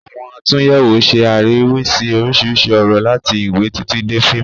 Àwọn àtúnyẹ̀wò ń ṣe àríwísí oríṣiríṣi ọ̀rọ̀, láti ìwé títí dé fíìmù